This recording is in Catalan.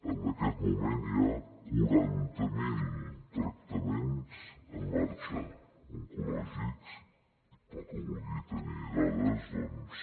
en aquest moment hi ha quaranta mil tractaments en marxa oncològics i pel que vulgui tenir dades doncs